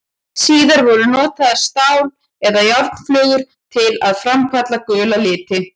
Síðar voru notaðar stál- eða járnflögur til að framkalla gula liti.